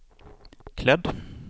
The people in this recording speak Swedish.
klädd